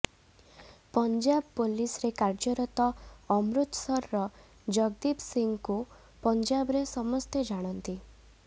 Punjab police ରେ କାଯ୍ୟରତ ଅମୃତସର ର ଜଗଦୀପ ସିଂହ କୁ ପଞ୍ଜାବରେ ସମସ୍ତେ ଜାଣନ୍ତି